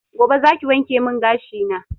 Gobe zaki wankemin gashi na